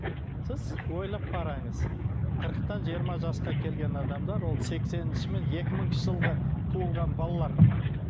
сіз ойлап қараңыз қырықтан жиырма жасқа келген адамдар ол сексенінші мен екі мыңыншы жылғы туылған балалар